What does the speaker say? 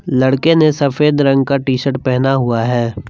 लड़के ने सफेद रंग का टी शर्ट पहना हुआ है।